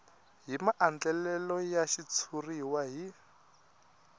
hi maandlalelo ya xitshuriwa hi